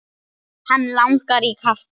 Hann langar í kaffi.